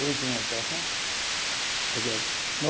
Última operação, porque no